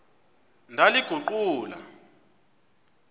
ndaliguqula